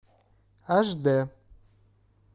аш д